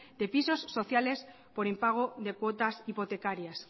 de pisos sociales por impago de cuotas hipotecarias